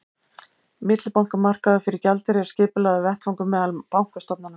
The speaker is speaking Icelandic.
millibankamarkaður fyrir gjaldeyri er skipulagður vettvangur meðal bankastofnana